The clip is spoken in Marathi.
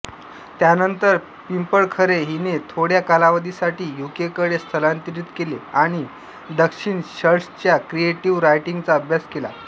त्यानंतर पिंपळखरे हिने थोड्या कालावधीसाठी यूकेकडे स्थलांतरित केले आणि दक्षिणशल्ड्सच्या क्रिएटिव्ह रायटिंगचा अभ्यास केला